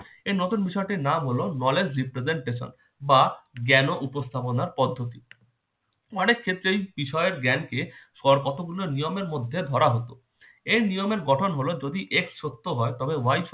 নতুন বিষয়টির নাম হল knowledge representation বা জ্ঞান উপস্থাপনা পদ্ধতি অনেক ক্ষেত্রেই বিষয়ের জ্ঞানকে কর কতগুলো নিয়মের মধ্যে ধরা হতো এই নিয়মের গঠন হলো যদি x সত্য হয় তবে y সত্য